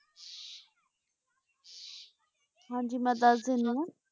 ਹਾਂਜੀ ਮੈਂ ਦਸ ਦੇਣੀ ਵਾਂ